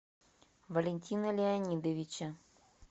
валентина леонидовича